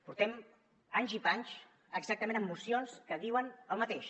portem anys i panys exactament amb mocions que diuen el mateix